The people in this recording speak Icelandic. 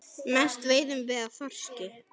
Mest veiðum við af þorski.